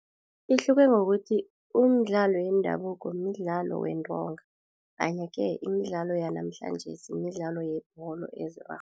Ihluke ngokuthi umdlalo yendabuko midlalo wentonga kanye-ke imidlalo yanamhlanjesi midlalo yebholo